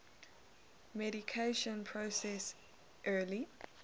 mediation process early